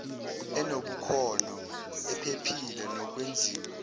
enobukhono ephephile nokwenziwa